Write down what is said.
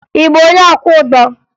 Ị bụ onye ọkwọụgbọ?